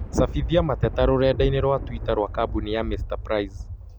cabithia mateta rũrenda-inī rũa tũita rũa kambũni ya Mr. Price.